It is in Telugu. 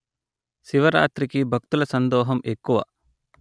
శివరాత్రికి భక్తుల సందోహం ఎక్కువ